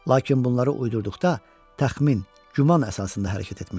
Lakin bunları uydurduqda təxmin, güman əsasında hərəkət etmişdi.